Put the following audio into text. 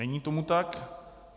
Není tomu tak.